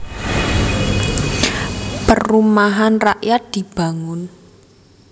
Perumahan rakyat dibangun